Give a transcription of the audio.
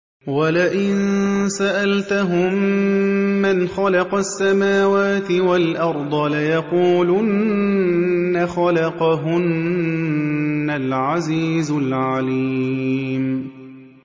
وَلَئِن سَأَلْتَهُم مَّنْ خَلَقَ السَّمَاوَاتِ وَالْأَرْضَ لَيَقُولُنَّ خَلَقَهُنَّ الْعَزِيزُ الْعَلِيمُ